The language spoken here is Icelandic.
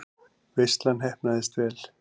Veislan heppnaðist vel.